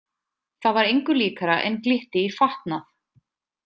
Það var engu líkara en glytti í fatnað.